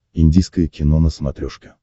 индийское кино на смотрешке